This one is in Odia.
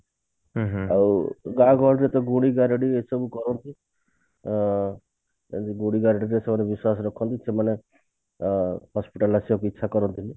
ଆଉ ଗାଁ ଗହଳିରେ ତ ଗୁଣିଗାରେଡି ଏସବୁ କରନ୍ତି ଅ ବେଶୀ ଗୁଣିଗାରେଡି ଉପରେ ବିଶ୍ବାସ ରଖନ୍ତି ସେମାନେ ଅ hospital ଆସିବାକୁ ଇଛା କରନ୍ତି ନି